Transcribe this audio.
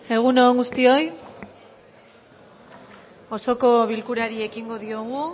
egun on guztioi osoko bilkurari ekingo diogu